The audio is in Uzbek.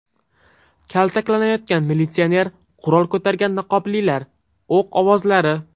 Kaltaklanayotgan militsioner, qurol ko‘targan niqoblilar, o‘q ovozlari .